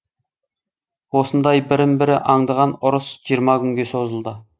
осындай бірін бірі аңдыған ұрыс жиырма күнге созылды